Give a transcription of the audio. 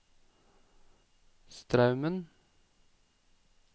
Straumen